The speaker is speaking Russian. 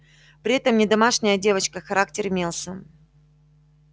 при этом не домашняя девочка характер имелся